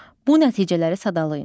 Bu nəticələri sadalayın.